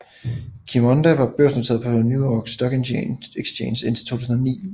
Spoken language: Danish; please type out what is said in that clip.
Qimonda var børsnoteret på New York Stock Exchange indtil 2009